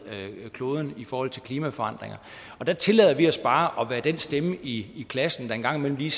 kloden i forhold til klimaforandringer der tillader vi os bare at være den stemme i klassen der en gang imellem lige